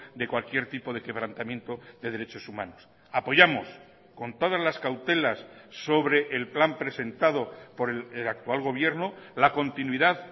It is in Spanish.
de cualquier tipo de quebrantamiento de derechos humanos apoyamos con todas las cautelas sobre el plan presentado por el actual gobierno la continuidad